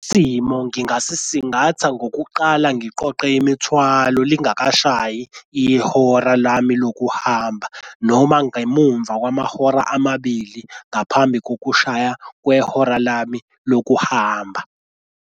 Simo ngingasisingatha ngokuqala ngiqoqe imithwalo lingakashayi ihora lami lokuhamba noma ngemumva kwamahora amabili ngaphambi kokushaya kwehora lami lokuhamba.